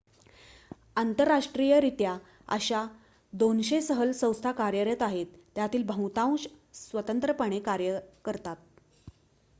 आंतरराष्ट्रीयरित्या अशा 200 सहल संस्था कार्यरत आहेत त्यातील बहुतांश स्वतंत्रपणे कार्य करतात